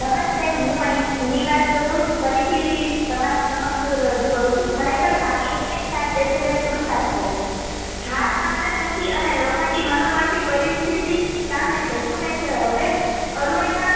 નમસ્તે હું આઈ ઝૂની વાત અ ફરીથી તમારી સમક્ષ રજૂ કરું છું ખરેખર ભાગ્ય એનેજ સાથ દેછે જે પુરુષાર્થ કરે છે. હાર માનતા નથી અને લોખંડી મનોબળ થી પરિસ્થિતિ સામે જજુમેછે હવે અરુણીમાં